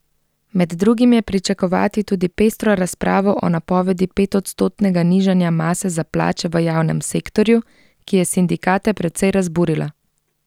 Med drugim je pričakovati tudi pestro razpravo o napovedi petodstotnega nižanja mase za plače v javnem sektorju, ki je sindikate precej razburila.